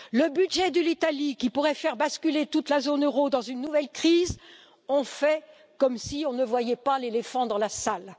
Quant au budget de l'Italie, qui pourrait faire basculer toute la zone euro dans une nouvelle crise, on fait comme si on ne voyait pas l'éléphant dans la salle.